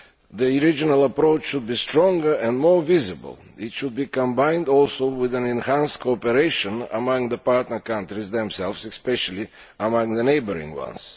The regional approach should be stronger and more visible. It should be combined also with enhanced cooperation among the partner countries themselves, especially among the neighbouring ones.